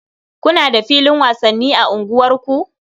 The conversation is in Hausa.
Kuna da filin wasanni a unguwarku?